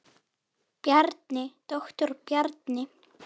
Bjarni, doktor Bjarni.